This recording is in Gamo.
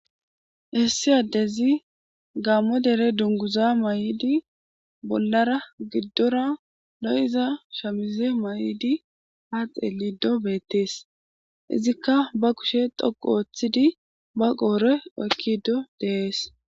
"Issi addezi gaamo dere dungguza mayidi bollara giddora lo7iza shamize mayidi ha xeelide betees , Izzikka ba kushe dhoqqu othidi ba qoore oykkidi dees."